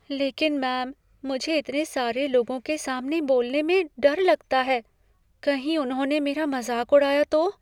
लेकिन मैम, मुझे इतने सारे लोगों के सामने बोलने में डर लगता है। कहीं उन्होंने मेरा मज़ाक उड़ाया तो?